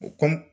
U kɔ